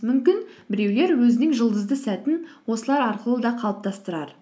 мүмкін біреулер өзінің жұлдызды сәтін осылар арқылы да қалыптастырар